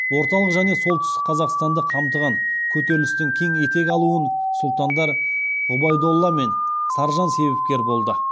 орталық және солтүстік қазақстанды қамтыған көтерілістің кең етек алуын сұлтандар ғұбайдолла мен саржан себепкер болды